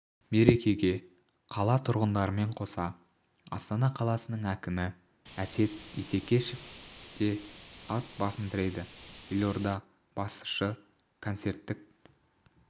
мерекеге қала тұрғындарымен қоса астана қаласының әкімі әсет исекешев те ат басын тіреді елорда басшысы концерттік